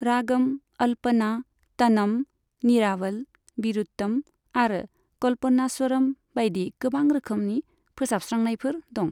रागम, अल्पना, तनम, निरावल, विरुत्तम आरो कल्पनास्वरम बायदि गोबां रोखोमनि फोसाबस्रांनायफोर दं।